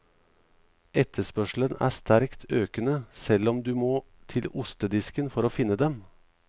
Etterspørselen er sterkt økende, selv om du må til ostedisken for å finne dem.